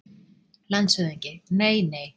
LANDSHÖFÐINGI: Nei, nei!